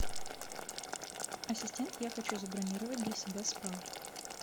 ассистент я хочу забронировать для себя спа